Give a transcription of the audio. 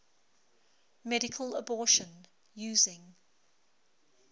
medical abortion using